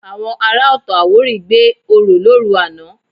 Àwọn ará Ọ̀tọ̀-Àwórì gbé orò lóru àná